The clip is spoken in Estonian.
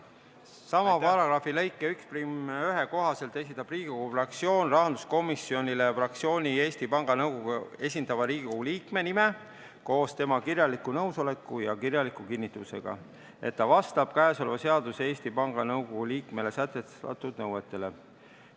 Sama paragrahvi lõike 11 kohaselt esitab Riigikogu fraktsioon rahanduskomisjonile fraktsiooni Eesti Panga Nõukogus esindava Riigikogu liikme nime koos tema kirjaliku nõusolekuga ja kirjaliku kinnitusega, et ta vastab käesolevas seaduses Eesti Panga Nõukogu liikmele sätestatud nõuetele.